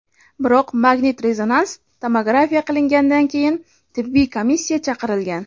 Biroq magnit-rezonans tomografiya qilingandan keyin tibbiy komissiya chaqirilgan.